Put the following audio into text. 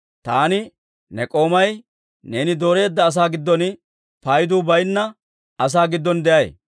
Taani ne k'oomay neeni dooreedda asaa giddon, paydu baynna asaa giddon de'ay.